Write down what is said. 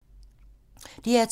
DR2